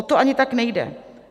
O to ani tak nejde.